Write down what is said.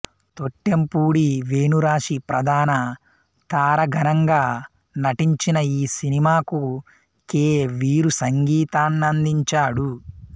తొట్టెంపూడి వేణురాశి ప్రధాన తారాగణంగా నటించిన ఈ సినిమాకు కె వీరూ సంగీతాన్నందించాడు